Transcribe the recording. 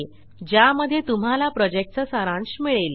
ज्यामध्ये तुम्हाला प्रॉजेक्टचा सारांश मिळेल